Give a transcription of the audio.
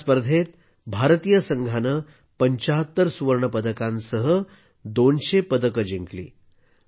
या स्पर्धेत भारतीय संघाने 75 सुवर्ण पदकांसह 200 पदके जिंकली